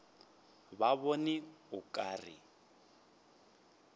ke bona o ka re